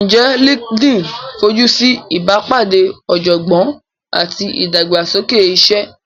Ǹjẹ́ LinkedIn fojú sí ìbápàdé ọ̀jọ̀gbọ́n àti ìdàgbàsókè iṣẹ́?